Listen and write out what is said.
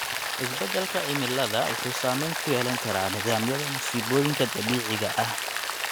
Isbedelka cimilada wuxuu saameyn ku yeelan karaa nidaamyada musiibooyinka dabiiciga ah.